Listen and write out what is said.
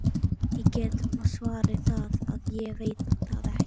Ég get svarið það að ég veit það ekki.